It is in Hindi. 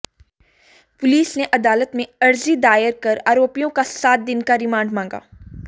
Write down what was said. पुलिस ने अदालत में अर्जी दायर कर आरोपियों का सात दिन का रिमांड मांगा